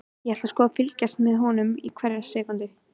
Ég ætla sko að fylgjast með honum hverja sekúndu.